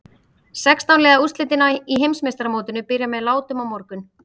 Sextán liða úrslitin í Heimsmeistaramótinu byrja með látum á morgun.